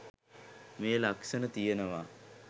මේ ලක්ෂණ තියෙනවා.